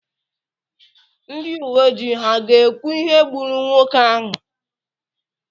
ndị uwe ojii ha ga-ekwu ihe gburu nwoke ahụ?